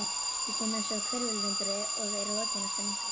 Ég kem einsog hvirfilvindur og er rokinn eftir nokkra daga.